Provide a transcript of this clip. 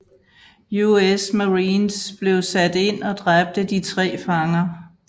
US Marines blev sat ind og dræbte de tre fanger